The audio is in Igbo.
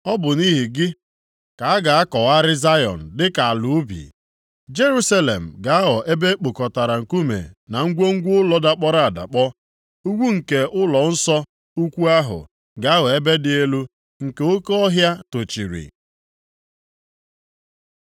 Ọ bụ nʼihi gị ka a ga-akọgharị Zayọn dịka ala ubi, Jerusalem ga-aghọ ebe e kpokọtara nkume na ngwongwo ụlọ dakpọrọ adakpọ, ugwu nke ụlọnsọ ukwu ahụ ga-aghọ ebe dị elu nke oke ọhịa tochiri.